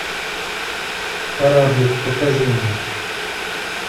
кораблик покажи мне